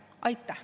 Aitäh!